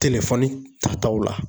telefɔni tataw la